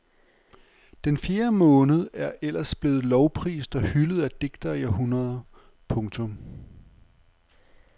Den fjerde måned er ellers blevet lovprist og hyldet af digtere i århundreder. punktum